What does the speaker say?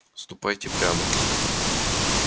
ступайте прямо